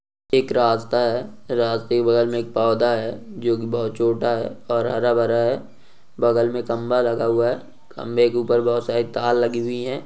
एक रास्ता है रास्ते के बगल में एक पौधा है जो की बहुत छोटा है और हरा भरा है बगल में खम्भा लगा हुआ है खम्बे के ऊपर बहुत सारी तार लगी हुई है।